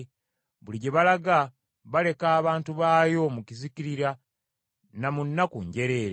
buli gye balaga baleka abantu baayo mu kuzikirira na mu nnaku njereere.